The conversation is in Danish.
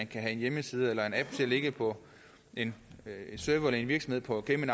kan have en hjemmeside eller en app til at ligge på en server eller en virksomhed på cayman